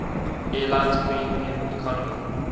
airlines premium economy